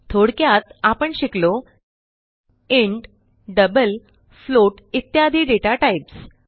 थोडक्यात आपण शिकलो इंट डबल फ्लोट इत्यादी डेटा टाईप्स